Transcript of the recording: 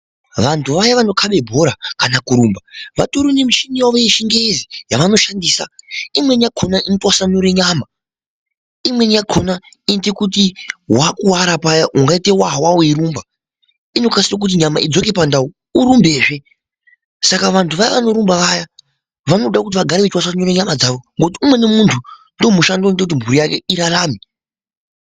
Vanthu vaya vanokabe bhora kana kurumba vatori nemichini yavo yechingezi yavanoshandisa imweni yakona inotofenura nyama imweni yakona inoite kuti wakuwara paya ungaite wawa weirumba inokasira kuti nyama idzoke pandau urumbezve saka vanthu vaya vanorumba vaya vanoda kuti vagare veitwasanura nyama dzavo ngokuti umweni munthu ndiwo mushando unotoite kuti mhuri yake irarame.